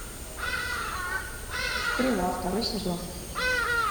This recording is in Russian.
стрела второй сезон